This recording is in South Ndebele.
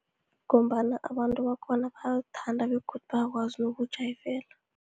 Ngombana abantu bakhona bayawuthanda begodu bayakwazi nokuwujayivela.